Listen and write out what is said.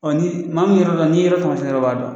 Ɔn ni maa min be yɔrɔ dɔn ni ye yɔrɔ taamasiɲɛ dɔrɔn o b'a dɔn.